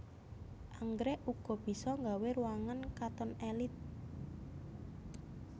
Anggrèk uga bisa nggawé ruangan katon èlit